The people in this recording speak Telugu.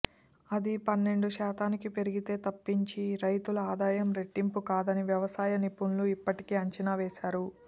అది పన్నెండు శాతానికి పెరిగితే తప్పించి రైతుల ఆదాయం రెట్టింపు కాదని వ్యవసాయ నిపుణులు ఇప్పటికే అంచనా వేశారు